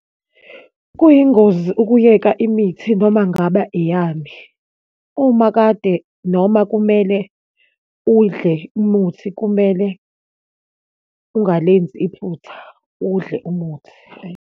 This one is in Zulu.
Kuyingozi ukuyeka imithi noma ngaba eyani. Uma kade noma kumele udle umuthi, kumele ungalenzi iphutha, udle umuthi. Hhayi.